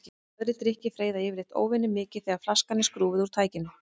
Aðrir drykkir freyða yfirleitt óvenjumikið þegar flaskan er skrúfuð úr tækinu.